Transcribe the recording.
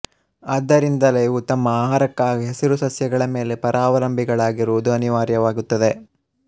ಆದ್ದರಿಂದಲೇ ಇವು ತಮ್ಮ ಆಹಾರಕ್ಕಾಗಿ ಹಸಿರು ಸಸ್ಯಗಳಮೇಲೆ ಪರಾವಲಂಬಿಗಳಾಗಿರುವುದು ಅನಿವಾರ್ಯವಾಗುತ್ತದೆ